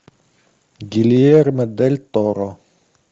гильермо дель торо